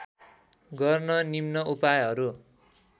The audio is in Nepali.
गर्न निम्न उपायहरू